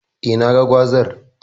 Eh, naga gwazar.